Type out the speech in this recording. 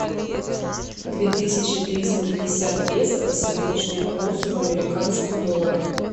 две тысячи триста пятьдесят песо по сегодняшнему курсу в американских долларах